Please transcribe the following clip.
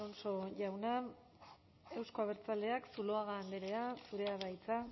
alonso jauna euzko abertzaleak zuluaga andrea zurea da hitza